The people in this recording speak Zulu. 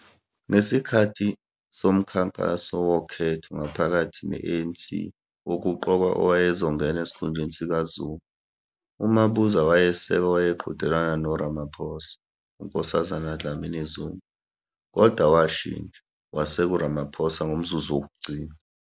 Ngesikhathi somkhankaso wokhetho ngaphakathi ne ANC wokuqokwa owayezo ngena esikhundeni sika Zuma, uMabuza wayeseka owayeqhudelana no Ramaphosa, uNkosazana Dlamini-Zuma, kodwa washintsha, waseka uRamaphosa ngomzuzu wokugcina.